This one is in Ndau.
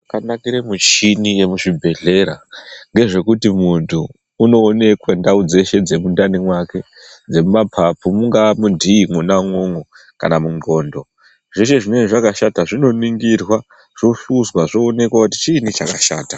Chakanakire mishini yemuchibhehleya ngezvekuti muntu unoonekwe ndau dzeshe dzemundani mwake dzemumapapu mungaa munhii mwona umwomwo kana munxlondo zveshe zvinonga zvakashata zvinoningirwa zvohluzwa zvoonekwa kuti chiinyi chakashata .